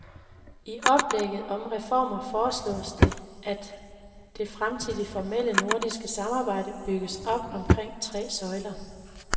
I oplægget om reformer foreslås det, at det fremtidige formelle nordiske samarbejde bygges op omkring tre søjler.